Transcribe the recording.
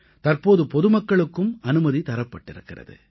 தற்போது பொதுமக்களுக்கும் அனுமதி தரப்பட்டிருக்கிறது